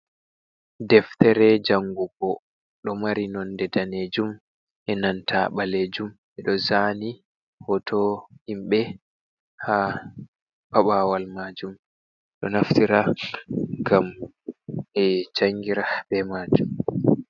Deftere jangugo, ɗo mari nonde danejum e nanta ɓalejum, ɓe ɗo zaani hoto himɓe ha paɓaawal majum. Ɓe ɗo naftira ngam ɓe jangira ɓe majum.